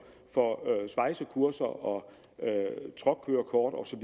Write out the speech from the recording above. svejsekurser og truckkørekortkurser